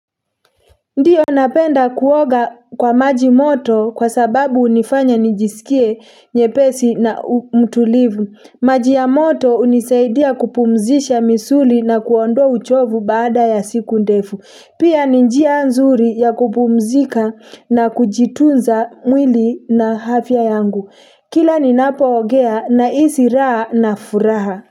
Ndiyo napenda kuoga kwa maji moto kwa sababu unifanya nijisikie nyepesi na mtulivu, maji ya moto unisaidia kupumzisha misuli na kuondoa uchovu baada ya siku ndefu, pia ni njia nzuri ya kupumzika na kujitunza mwili na afya yangu, kila ninapo ogea na isi raa na furaha.